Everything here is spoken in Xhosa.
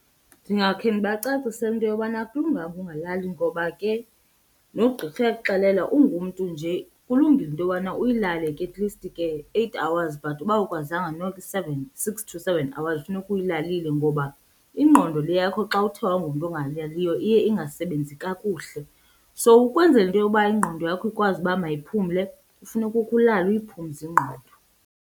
Ndingakhe ndibacacisele into yobana akulunganga ungalali ngoba ke nogqirha uyakukuxelela ungumntu nje kulungile into yobana uyilale ke atleast ke eight hours but uba awukwazanga noko i-seven, six to seven hours funeka uyilalile ngoba ingqondo le yakho xa uthe wangumntu ongalaliyo iye ingasebenzi kakuhle. So ukwenzela into yoba ingqondo yakho ikwazi uba mayiphumle funeka ukhe ulale uyiphumze ingqondo.